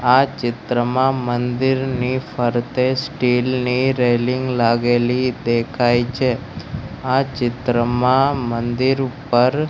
આ ચિત્રમાં મંદિરની ફરતે સ્ટીલ ની રેલિંગ લાગેલી દેખાય છે આ ચિત્રમાં મંદિર ઉપર--